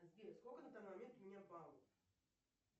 сбер сколько на данный момент у меня баллов